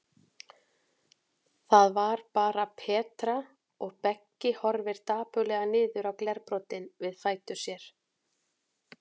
Það var bara Petra, og Beggi horfir dapurlega niður á glerbrotin við fætur sér.